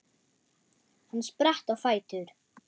Hann spratt á fætur.